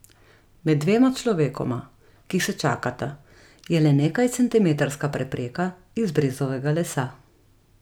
Med dvema človekoma, ki se čakata, je le nekajcentimetrska prepreka iz brezovega lesa.